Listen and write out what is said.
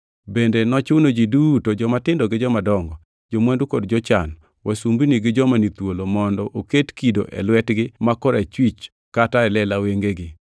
Bende nochuno ji duto, jomatindo gi jomadongo, jo-mwandu kod jochan, wasumbini gi joma ni thuolo, mondo oket kido e lwetegi ma korachwich kata e lela wengegi,